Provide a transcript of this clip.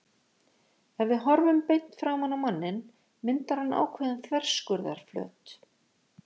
Ef við horfum beint framan á manninn myndar hann ákveðinn þverskurðarflöt.